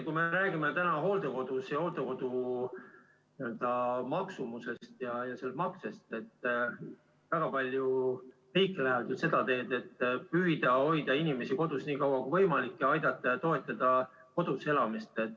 Kui me räägime täna hooldekodudest ja hooldekodukoha maksumusest ja maksest, siis väga palju riike läheb seda teed, et püütakse hoida inimest kodus nii kaua kui võimalik, teda aidata ja toetada tema kodus elamist.